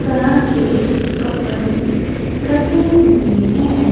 तरह के कपड़े रखे हुए है।